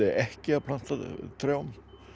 ekki að planta trjám